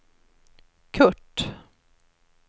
Curt